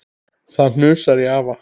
Það hnussar í afa.